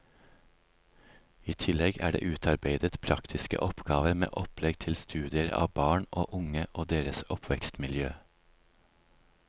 I tillegg er det utarbeidet praktiske oppgaver med opplegg til studier av barn og unge og deres oppvekstmiljø.